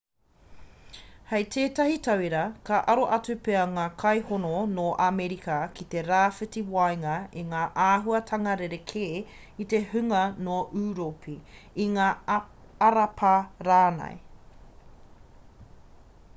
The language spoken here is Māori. hei tētahi tauira ka aro atu pea ngā kainoho nō amerika ki te rāwhiti waenga i ngā āhuatanga rerekē i te hunga nō ūropi i ngā arapa rānei